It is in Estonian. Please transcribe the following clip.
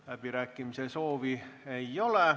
Läbirääkimise soovi ei ole.